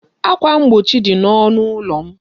Ákwà mgbochi dị n'ọnụ ụlọ m.